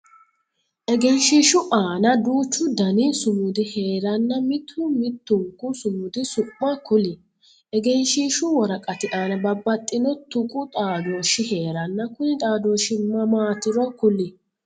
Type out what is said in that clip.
Egenshiishu aanna duuchu Danni sumudi heeranna mitu mitunku sumudi su'ma kuli? Egenshiishu woraqati aanna babbaxino tuqu xaadooshi heeranna kunni xaadooshi maamatiro kuli?